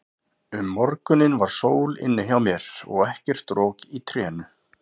Um morguninn var sól inni hjá mér og ekkert rok í trénu.